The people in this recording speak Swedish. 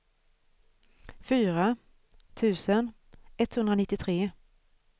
fyra tusen etthundranittiotre